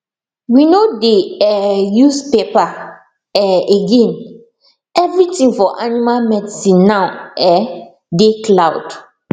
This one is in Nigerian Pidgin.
we no dey um use paper um again everything for animal medicine now um dey cloud